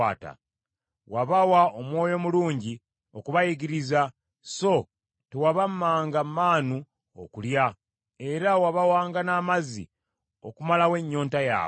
Wabawa Omwoyo omulungi okubayigiriza, so tewabammanga manu okulya, era wabawanga n’amazzi okumalawo ennyonta yaabwe.